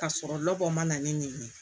Ka sɔrɔ labɔ man na ne neni